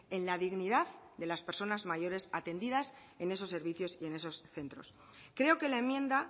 en la dignidad de las personas mayores atendidas en esos servicios y en esos centros creo que la enmienda